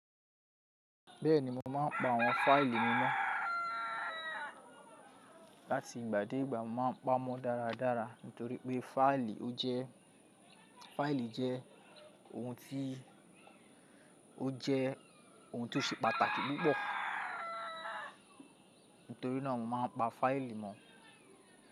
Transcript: Bẹ́ẹ̀ni, mo máa ń pa àwọn fáìlì mọ̀ láti ìgbà dé ìgbà. Mo máa ń pamọ́ dáradára nítorí pé fáìlì ó jẹ́, fáìlì jẹ́ òun tí jẹ́ ohun tó ṣe pàtàkì púpọ̀. Nítorí náà mo máa ń pa fáìlì mọ̀.